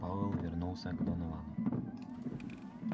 пауэлл повернулся к доновану